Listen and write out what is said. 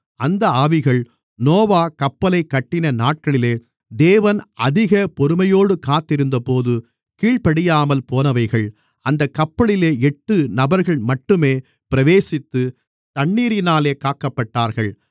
அந்த ஆவிகள் நோவா கப்பலைக் கட்டின நாட்களிலே தேவன் அதிக பொறுமையோடு காத்திருந்தபோது கீழ்ப்படியாமல் போனவைகள் அந்தக் கப்பலிலே எட்டு நபர்கள்மட்டுமே பிரவேசித்து தண்ணீரினாலே காக்கப்பட்டார்கள்